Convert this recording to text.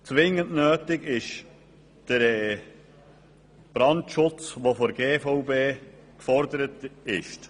Zwingend nötig ist der Brandschutz, der von der GVB gefordert wird.